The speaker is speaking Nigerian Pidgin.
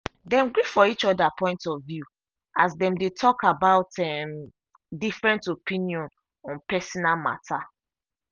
dem gree for each other point of view as dem dey talk about um different opinion on personal matter.